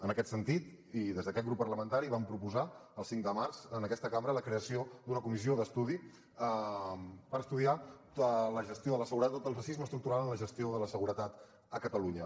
en aquest sentit i des d’aquest grup parlamentari vam proposar el cinc de març en aquesta cambra la creació d’una comissió d’estudi per estudiar el racisme estructural en la gestió de la seguretat a catalunya